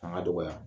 Fanga dɔgɔya